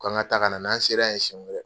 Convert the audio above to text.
K'an ka taa ka na n'an sera ye siyɛn wɛrɛ